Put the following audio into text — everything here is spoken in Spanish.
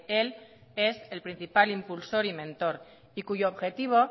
él es el principal impulsor y mentor y cuyo objetivo